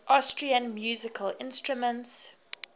austrian musical instruments